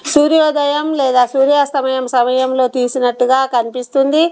సూర్యోదయం లేదా సూర్య స్తమయం సమయంలో తీసినట్టుగా కనిపిస్తుంది.